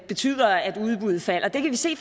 betyder at udbuddet falder det kan vi se